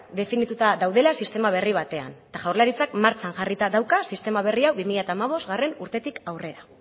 definituta daudela sistema berri batean eta jaurlaritzak martxan jarrita dauka sistema berri hau bi mila hamabostgarrena urtetik aurrera